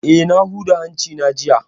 Eh, na huda hanci na jiya